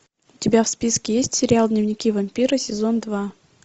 у тебя в списке есть сериал дневники вампира сезон два